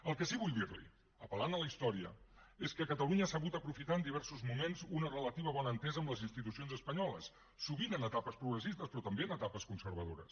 el que sí que vull dirli apel·lant a la història és que catalunya ha sabut aprofitar en diversos moments una relativa bona entesa amb les institucions espanyoles sovint en etapes progressistes però també en etapes conservadores